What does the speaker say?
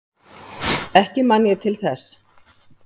Ekki man ég til þess.